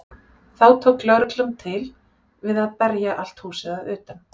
Þá tók lögreglan til við að berja allt húsið að utan.